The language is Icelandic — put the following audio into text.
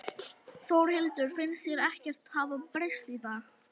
Þórhildur: Finnst þér ekkert hafa breyst í dag?